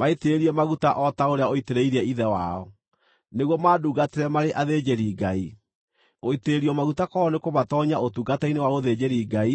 Maitĩrĩrie maguta o ta ũrĩa ũitĩrĩirie ithe wao, nĩguo mandungatĩre marĩ athĩnjĩri-Ngai. Gũitĩrĩrio maguta kwao nĩkũmatoonyia ũtungata-inĩ wa ũthĩnjĩri-Ngai